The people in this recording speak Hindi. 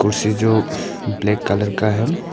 कुर्सी जो ब्लैक कलर का है।